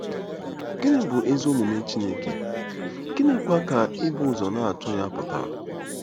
Gịnị bụ ezi omume Chineke, gịnịkwa ka ibu ụzọ na-achọ ya pụtara?